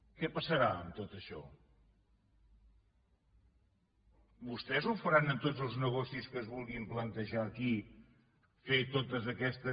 què passarà amb tot això vostès ho faran amb tots els negocis que es vulguin plantejar aquí fer totes aquestes